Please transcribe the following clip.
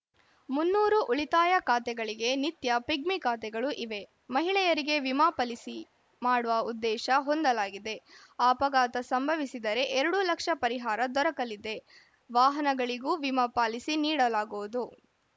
ಮುನ್ನೂರು ಉಳಿತಾಯ ಖಾತೆಗಳಿಗೆ ನಿತ್ಯ ಪಿಗ್ಮಿ ಖಾತೆಗಳು ಇವೆ ಮಹಿಳೆಯರಿಗೆ ವಿಮಾ ಪಲಿಸಿ ಮಾಡುವ ಉದ್ದೇಶ ಹೊಂದಲಾಗಿದೆ ಆ ಅಪಘಾತ ಸಂಭವಿಸಿದರೆ ಎರಡು ಲಕ್ಷ ಪರಿಹಾರ ದೊರಕಲಿದೆ ವಾಹನಗಳಿಗೂ ವಿಮಾ ಪಾಲಿಸಿ ನೀಡಲಾಗುವುದು